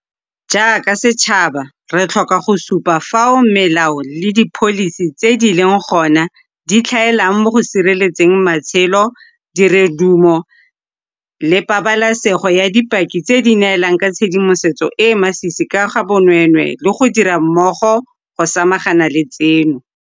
Jaaka setšhaba, re tlhoka go supa fao melao le dipholisi tse di leng gona di tlhaelang mo go sireletseng matshelo, dirodumo le pabalesego ya dipaki tse di neelang ka tshedimosetso e e masisi ka ga bonweenwee le go dira mmogo go samagana le tseno.